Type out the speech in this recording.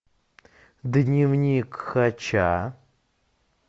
дневник хача